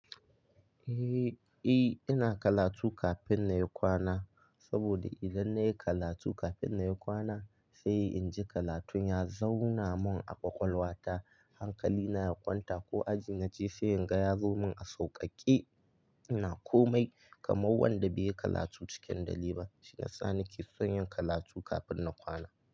Eh, ina karatu kafin na yi kwana saboda idan na yi karatu kafin na yi kwana sai in ji karatun ya zauna mun a ƙwaƙwalwa ta, hankali na ya kwanta ko aji na je sai in ga ya zo mun a sauƙaƙe. Ina komai kamar wanda bai yi karatu cikin dare ba shiyasa nake son yin karatu kafin na kwana.